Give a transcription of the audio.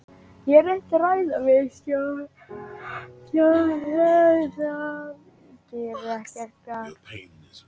Ég hef reynt að ræða við stjórann en það gerir ekkert gagn.